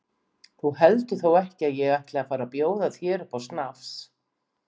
Þú heldur þó ekki að ég ætli að fara að bjóða þér upp á snafs?